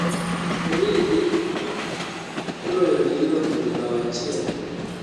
origi oloyoni liverpool bao achiel